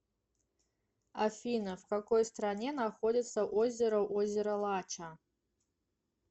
афина в какой стране находится озеро озеро лача